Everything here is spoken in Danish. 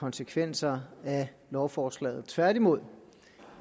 konsekvenser af lovforslaget tværtimod